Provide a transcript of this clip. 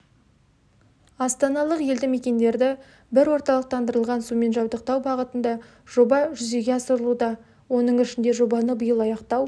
астаналық елді мекендерді бір орталықтандырылған сумен жабдықтау бағытында жоба жүзеге асырылуда оның ішінде жобаны биыл аяқтау